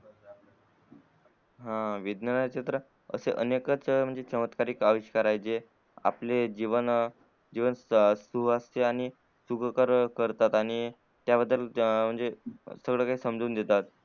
हा विज्ञान हे क्षेत्र अशे अनेक च अविष्कारक चमत्कार आहेत जे जे आपले जीवन सुवेवस्ते आणि सुखकर करतात आणि आणि त्या बद्दल म्हणजे समजून घेतात